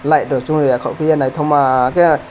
light rok swngya kokpiye naitok ma ke.